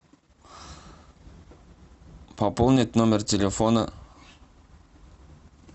пополнить номер телефона